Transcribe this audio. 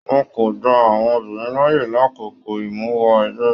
Wọn kò gbà àwọn obìnrin láàyè l'akoko imuwọ̀ ẹgbẹ.